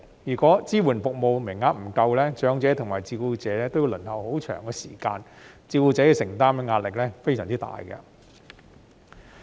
如果支援服務名額不足，長者及照顧者均要輪候很長時間，照顧者要承擔的壓力非常大。